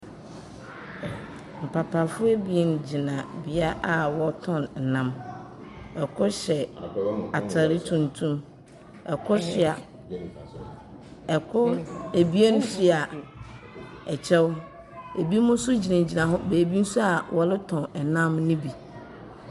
Mpapafoɔ abien gyina beaeɛ a wɔtɔn nnam. ℇkor hyɛ ataade tuntum, ɛkor hyɛ ɛko abien soa ɛkyɛw. Ebinom nso gyinagyina hɔ baabi nso a wɔretɔn nnam no bi.